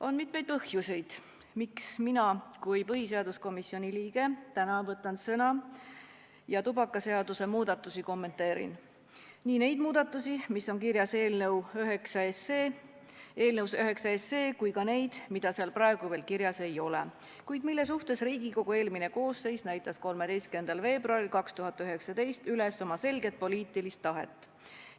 On mitmeid põhjuseid, miks mina kui põhiseaduskomisjoni liige võtan täna sõna ja tubakaseaduse muudatusi kommenteerin, nii neid muudatusi, mis on kirjas eelnõus 9, kui ka neid, mida seal praegu veel kirjas ei ole, kuid mille suhtes Riigikogu eelmine koosseis näitas 13. veebruaril 2019 üles oma selget poliitilist tahet.